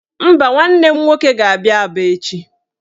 Mba, nwanne m nwoke ga-aga Aba echi